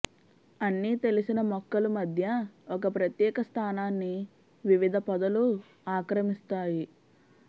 అన్ని తెలిసిన మొక్కలు మధ్య ఒక ప్రత్యేక స్థానాన్ని వివిధ పొదలు ఆక్రమిస్తాయి